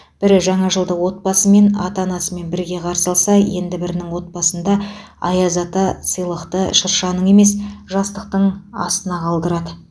бірі жаңа жылды отбасымен ата анасымен бірге қарсы алса енді бірінің отбасында аяз ата сыйлықты шыршаның емес жастықтың астына қалдырады